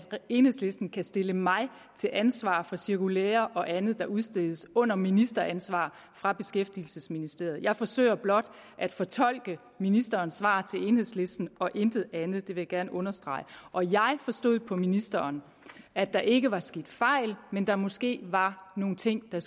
enhedslisten kan stille mig til ansvar for cirkulærer og andet der udstedes under ministeransvar fra beskæftigelsesministeriets side jeg forsøger blot at fortolke ministerens svar til enhedslisten og intet andet det vil jeg gerne understrege og jeg forstod på ministeren at der ikke var sket fejl men at der måske var nogle ting der